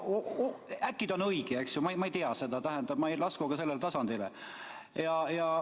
Äkki tal on õigus, ma ei tea seda, nii et ma ei lasku ka sellele tasandile.